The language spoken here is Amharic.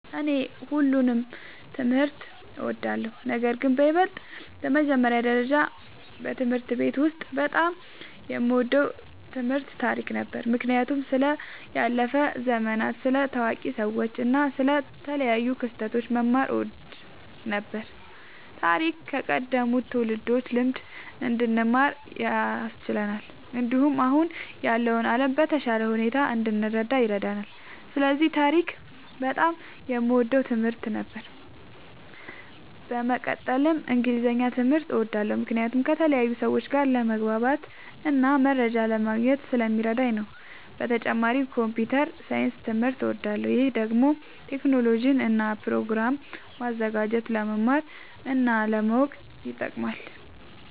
እኔ ሁሉንም ትምህርት እወዳለሁ፤ ነገርግን በይበልጥ በመጀመሪያ ደረጃ በትምህርት ቤት ውስጥ በጣም የምወደው ትምህርት ታሪክ ነበር። ምክንያቱም ስለ ያለፉ ዘመናት፣ ስለ ታዋቂ ሰዎች እና ስለ ተለያዩ ክስተቶች መማር እወድ ነበር። ታሪክ ከቀደሙት ትውልዶች ልምድ እንድንማር ያስችለናል፣ እንዲሁም አሁን ያለውን ዓለም በተሻለ ሁኔታ እንድንረዳ ይረዳናል። ስለዚህ ታሪክ በጣም የምወደው ትምህርት ነበር። በመቀጠልም እንግሊዝኛ ትምህርት እወዳለሁ ምክንያቱም ከተለያዩ ሰዎች ጋር ለመግባባትና መረጃ ለማግኘት ስለሚረዳኝ ነዉ። በተጨማሪም ኮምፒዉተር ሳይንስ ትምህርትም እወዳለሁ። ይህ ደግሞ ቴክኖሎጂን እና ፕሮግራም ማዘጋጀትን ለመማር እና ለማወቅ ይጠቅማል።